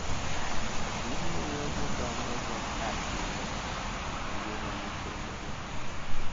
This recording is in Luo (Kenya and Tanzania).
Gimiyo gidonjon’go ahinya e ngima nyithindgi.